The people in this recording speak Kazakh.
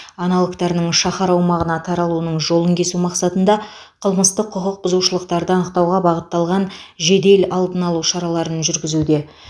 аналогтарының шаһар аумағына таралуының жолын кесу мақсатында қылмыстық құқық бұзушылықтарды анықтауға бағытталған жедел алдын алу шараларын жүргізуде